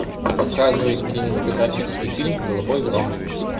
показывай кинематографический фильм голубой гром